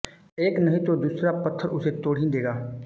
एक नहीं तो दूसरा पत्थर उसे तोड़ ही देगा